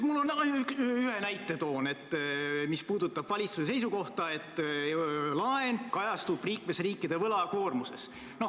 Ma toon ühe näite, mis puudutab valitsuse seisukohta, et laen kajastub liikmesriikide võlakoormuses.